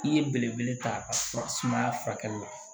I ye belebele ta fura sumaya furakɛli la